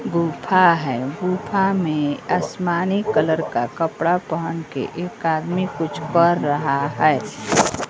गूफा है। गूफा में आसमानी कलर का कपड़ा पहनकर एक आदमी कुछ कर रहा है।